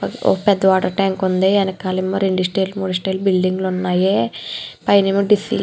ఒక పెద్ద water tank ఉంది వెనకాలేమో రెండు స్టైర్లు మూడు స్టైర్లు బిల్డింగ్ లు ఉన్నాయి పైనేమో--